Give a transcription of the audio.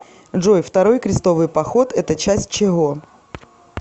джой второй крестовый поход это часть чего